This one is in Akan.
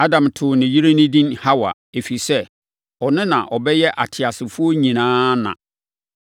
Adam too ne yere no edin Hawa, ɛfiri sɛ, ɔno na ɔbɛyɛ ateasefoɔ nyinaa na.